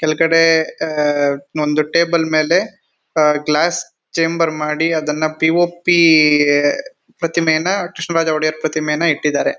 ಕೆಲ್ಗಡೆ ಆ ಒಂದು ಟೇಬಲ್ ಮೇಲೆ ಆ ಗ್ಲಾಸ್ ಚೇಂಬರ್ ಮಾಡಿ ಅದನ್ನ ಪಿ ಓ ಪಿ ಪ್ರತಿಮೆ ನ ಕೃಷ್ಣರಾಜ ಪ್ರತಿಮೆನ ಇಟ್ಟಿದಾರೆ.